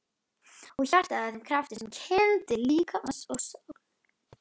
Og hjartað að þeim krafti sem kyndir líkama og sál?